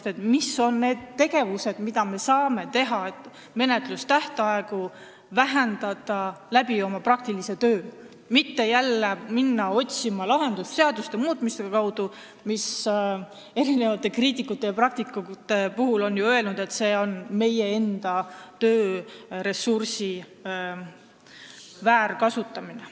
On vaja teada, mis on need võimalikud tegevused, et me saaksime menetlustähtaegu praktilise töö kaudu lühendada, aga mitte jälle hakata otsima lahendust seaduste muutmisest, mille kohta kriitikud ja praktikud on ju öelnud, et see on meie enda tööressursi väärkasutamine.